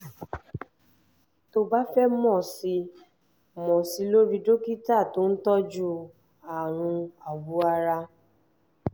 tó o bá fẹ́ mọ̀ sí i mọ̀ sí i lọ rí dókítà tó ń tọ́jú àrùn awọ ara